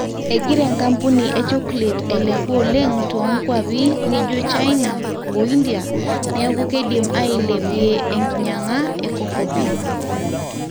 egirra enkapuni e chocolate ailepu oleng toonkuapi nijo china o india neeku keidim aaiilepie enkinyang'a e cocoa beans